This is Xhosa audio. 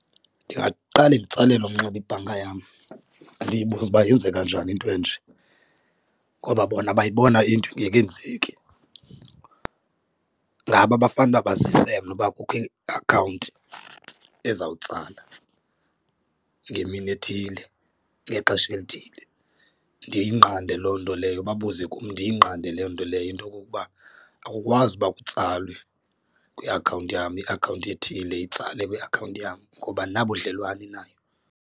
Ndingaqale nditsalele umnxeba ibhanka yam ndiyibuze uba yenzeka njani into enje, ngoba bona bayibona into ingekenzeki. Ngabo abafanele uba bazise mna uba kukho iakhawunti ezawutsala ngemini ethile ngexesha elithile. Ndiyinqande loo nto leyo babuze kum ndiyinqande loo nto leyo into okokuba akukwazi uba kutsalwe kwiakhawunti yam iakhawunti ethile itsale kwiakhawunti yam ngoba andinabudlelwane nayo.